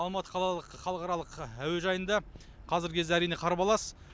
алматы қалалық халықаралық әуежайында қазіргі кезде әрине қарбалас